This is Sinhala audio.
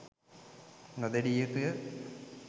නො දෙඩිය යුතු ය.